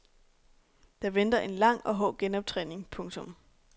Der venter en lang og hård genoptræning. punktum